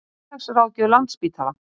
Félagsráðgjöf Landspítala.